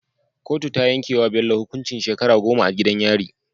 Kotu ta yanke wa Bello hukuncin shekara goma a gidan yari